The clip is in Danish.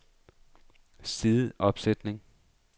sideopsætning